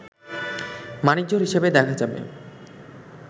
মানিকজোড় হিসেবে দেখা যাবে